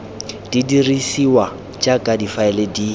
di dirisiwa jaaka difaele di